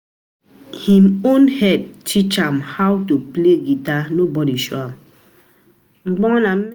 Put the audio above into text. him own head teach am how to play guitar, nobody show am